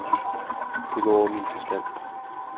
Det går over min forstand.